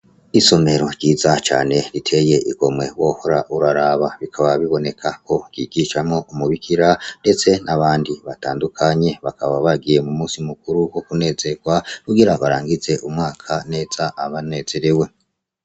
Isomero ryiza cane riteye igomwe wohora uraraba, bikaba bibonekako ryigushwamwo umubikira ndetse n'abandi batandukanye, bakaba bagiye mumusi mukuru wo kunezegwa kugira barangize umwaka neza banezerewe.